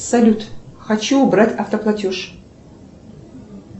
салют хочу убрать автоплатеж